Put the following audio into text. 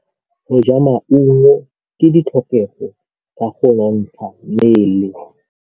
Go ja maungo ke ditlhokegô tsa go nontsha mmele.